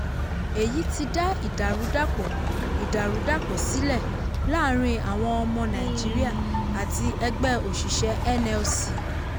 èyí ti dá ìdàrúdàpọ̀ ìdàrúdàpọ̀ sílẹ̀ láàrin àwọn ọmọ nàìjíríà àti ẹgbẹ́ òṣìṣẹ́ nlc.